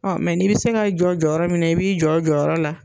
Ɔ mɛ n'i bɛ se ka jɔ jɔyɔrɔ min na, i b'i jɔ la jɔyɔrɔ la.